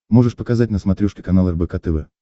можешь показать на смотрешке канал рбк тв